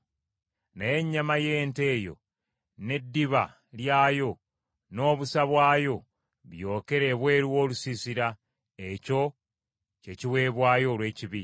Naye ennyama y’ente eyo n’eddiba lyayo, n’obusa bwayo, byokere ebweru w’olusiisira. Ekyo ky’ekiweebwayo olw’ekibi.